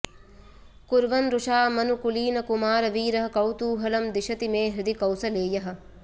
कुर्वन् रुषा मनुकुलीनकुमारवीरः कौतूहलं दिशति मे हृदि कौसलेयः